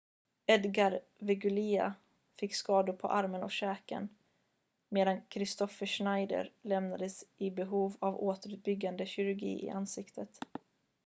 edgar veguilla fick skador på armen och käken medan kristoffer schneider lämnades i behov av återuppbyggande kirurgi i ansiktet